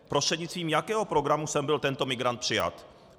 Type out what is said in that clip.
Prostřednictvím jakého programu sem byl tento migrant přijat?